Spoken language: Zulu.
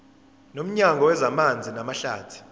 nomnyango wezamanzi namahlathi